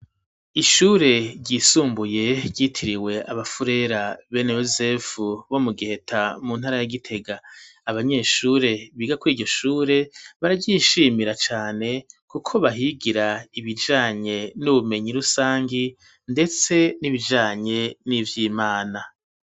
Ishure ryisumbuye ryitiriwe abafurera bene Yozefu bo mu Giheta mu ntara ya Gitega, abanyeshure biga kw'iryo shure bararyishimira cane kuko bahigira ibijanye n'ubumenyi rusangi, ndetse n'ibijanye n'ivyimana.